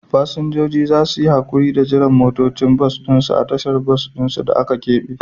Fasinjoji za su yi haƙuri da jiran motocin bas ɗin su a tashar bas ɗin da aka keɓe.